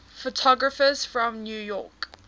photographers from new york